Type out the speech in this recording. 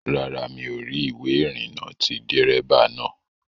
Rárá, mi ò rí ìwé ìrìnnà ti dérébà naa